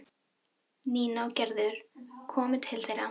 Nína og Gerður komu til þeirra.